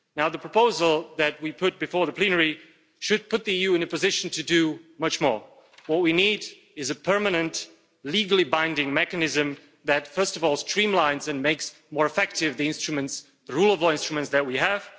The proposal that we put before the plenary should put the EU in a position to do much more. What we need is a permanent, legally binding mechanism that, first of all, streamlines and makes more effective the rule of law instruments that we have